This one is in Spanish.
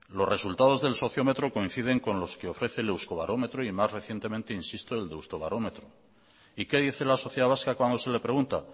los resultados del sociómetro coinciden con los que ofrece el euskobarómetro y más recientemente insisto el de deustobarómetro y qué dice la sociedad vasca cuando se le pregunta